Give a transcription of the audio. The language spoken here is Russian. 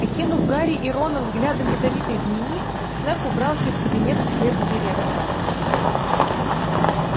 окинув гарри и рона взглядом ядовитой змеи снегг убрался из кабинета вслед за директором